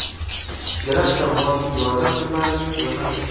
grant va moddiy yordam turlarining ro‘yxati.